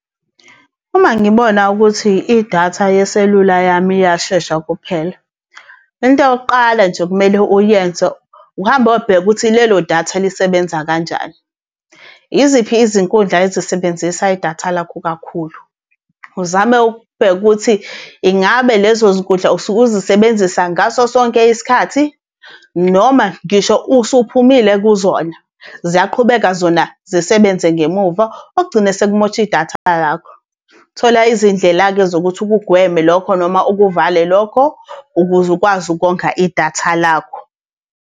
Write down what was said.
Uma ngibona ukuthi idatha yeselula yami iyashesha ukuphela. Into yokuqala nje ekumele uyenze, ukuhamba uyobheka ukuthi lelo datha lisebenza kanjani. Iziphi izinkundla ezisebenzisa idatha lakho kakhulu? Uzame ukubheka ukuthi, ingabe lezo zinkundla usuke uzisebenzisa ngaso sonke isikhathi, noma ngisho usuphumile kuzona ziyaqhubeka zona zisebenze ngemuva, okugcina sekumosha idatha lakho. Thola izindlela-ke zokuthi ukugweme lokho noma ukuvale lokho, ukuze ukwazi ukonga idatha lakho.